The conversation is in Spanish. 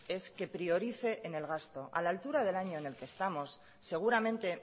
es que priorice en el gasto a la altura del año en el que estamos seguramente